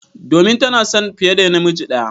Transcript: Domin tana son fiye da miji ɗaya.